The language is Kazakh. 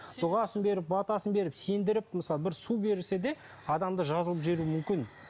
дұғасын беріп батасын беріп сендіріп мысалы бір су берсе де адамды жазылтып жіберуі мүмкін